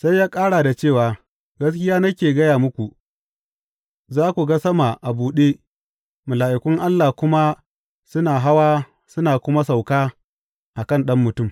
Sai ya ƙara da cewa, Gaskiya nake gaya muku, za ku ga sama a buɗe, mala’ikun Allah kuma suna hawa suna kuma sauka a kan Ɗan Mutum.